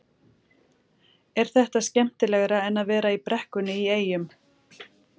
Var þetta skemmtilegra en að vera í brekkunni í Eyjum?